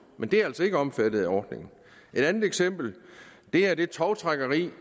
men det er altså ikke omfattet af ordningen et andet eksempel er det tovtrækkeri